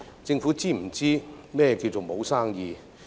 政府是否知道何謂沒有生意？